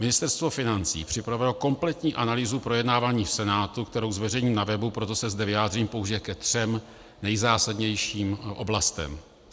Ministerstvo financí připravilo kompletní analýzu projednávání v Senátu, kterou zveřejním na webu, proto se zde vyjádřím pouze ke třem nejzásadnějším oblastem.